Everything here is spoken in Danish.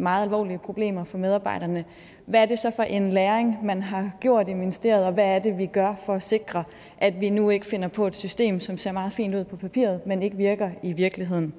meget alvorlige problemer for medarbejderne hvad er det så for en læring man har gjort i ministeriet og hvad er det vi gør for at sikre at vi nu ikke finder på et system som ser meget fint ud på papiret men ikke virker i virkeligheden